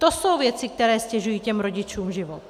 To jsou věci, které ztěžují těm rodičům život.